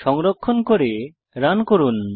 সংরক্ষণ করে রান করুন